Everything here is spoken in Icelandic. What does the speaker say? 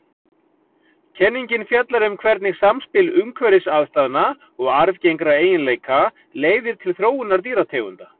Kenningin fjallar um hvernig samspil umhverfisaðstæðna og arfgengra eiginleika leiðir til þróunar dýrategunda.